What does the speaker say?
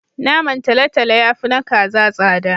Naman talatalo ya fi na kaza tsada.